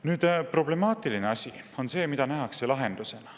Nüüd, problemaatiline asi on see, mida nähakse lahendusena.